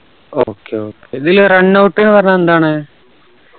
okay okay ഇതിലെ runout ന്ന് പറഞ്ഞ എന്താണ്